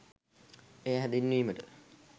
එය හැඳින්වීමට